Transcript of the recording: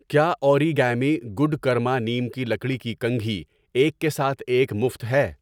کیا Origami Good Karma neem کی لکڑی کی کنگھی 'ایک کے ساتھ ایک مفت' ہے؟